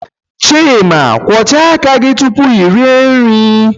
Chima kwọchaa aka gị tupu ị rịe nri.